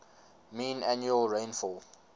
mean annual rainfall